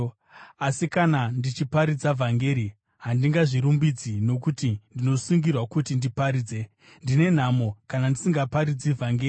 Asi kana ndichiparidza vhangeri, handingazvirumbidzi, nokuti ndinosungirwa kuti ndiparidze. Ndine nhamo, kana ndisingaparidzi vhangeri!